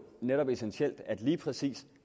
netop essentielt at lige præcis